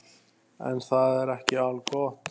En það er ekki algott.